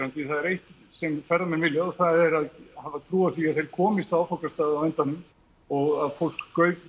því það er eitt sem ferðamenn vilja og það er að hafa trú á því að þeir komist á áfangastað á endanum og að fólk